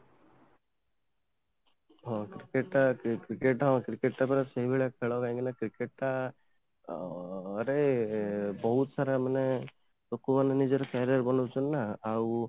ହଁ , cricket ଟା ହଁ, cricket ଟା ପରା ସେଇଭଳିଆ ଖେଳ କାହିଁକିନା cricket ଟା ରେ ମାନେ ବହୁତ ସାରା ମାନେ ଲୋକ ମାନେ ନିଜର career ବନାଉଛନ୍ତି ନା ଆଉ